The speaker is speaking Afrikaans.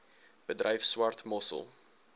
bedryf swart mossel